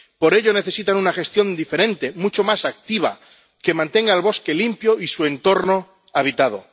por ello, necesitan una gestión diferente, mucho más activa, que mantenga el bosque limpio y su entorno, habitado.